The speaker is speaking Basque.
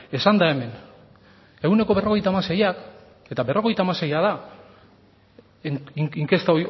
esan da hemen ehuneko berrogeita hamaseiak eta berrogeita hamaseia da inkesta